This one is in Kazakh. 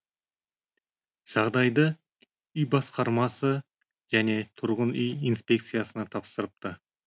жағдайды үй басқармасы және тұрғын үй инспекциясына тапсырыпты